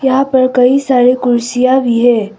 यहां पर कई सारी कुर्सियां भी है।